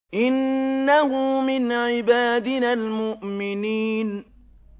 إِنَّهُ مِنْ عِبَادِنَا الْمُؤْمِنِينَ